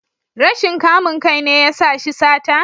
Rashin kamun kai ne ya sa shi sata?